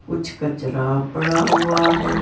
कुछ कचरा पड़ा हुआ है।